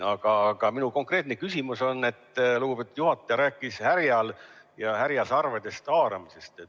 Aga minu konkreetne küsimus on selle kohta, et lugupeetud juhataja rääkis härjal sarvist haaramisest.